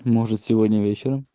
может сегодня вечером